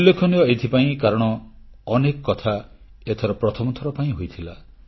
ଉଲ୍ଲେଖନୀୟ ଏଥିପାଇଁ କାରଣ ଅନେକ କଥା ଏଥର ପ୍ରଥମ ଥର ପାଇଁ ହୋଇଥିଲା